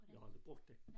Jeg har aldrig brugt den